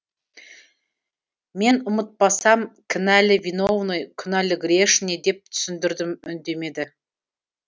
мен ұмытпасам кінәлі виновный күнәлі грешный деп түсіндірдім үндемеді